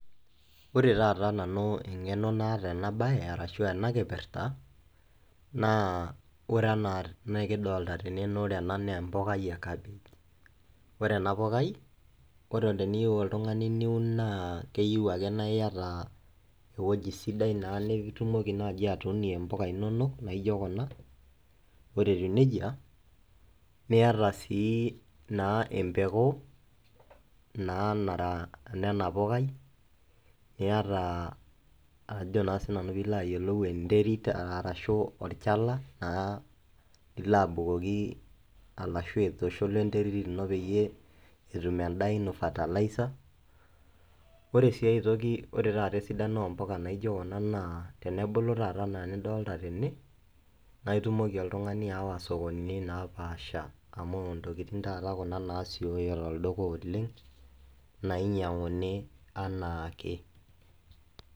Ore engeno naata Nanu ena bae aashu ena kipirta naa ore ena naa empukai e kapish. Ore ena pukai, ore teniyieu oltungani niun naa keyieu ake niata ewueji sidai naa nitumoki atuunie impuka inonok etiu nejia niata sii naa empeku ena pukai, niata enterit arashu olchala lilo aitushul wena terit pee etum endaa ino {fertilizer}.Ore sii ae toki ore esidano oo mpuka tenebulu anaa enidolita tene naa itumie oltungani aawa sokonini naapasha amu ntokitin kuna nasioyo tolduka oleng nainyianguni anaake.